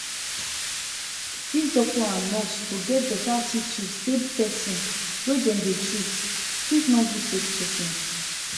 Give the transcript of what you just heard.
if doctor and nurse to get better attitude dey person wey dem dey treat fit no gree take treatment.